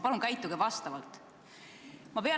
Palun käituge vastavalt!